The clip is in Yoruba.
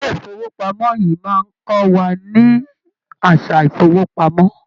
Ilé ifowopamọ yìí máa n kọ wà ní àsà ifowopamọ.